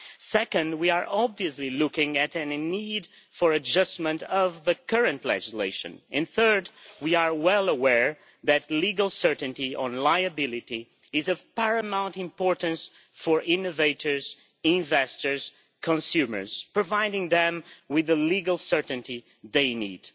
Second, we are obviously looking at any need for adjustment of the current legislation. And third we are well aware that legal certainty on liability is of paramount importance for innovators, investors and consumers, providing them with the legal certainty they need.